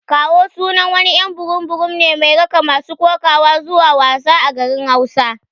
"Kawo" sunan wani y'an burum burum ne mai raka masu kokawa zuwa wasa a garin hausa.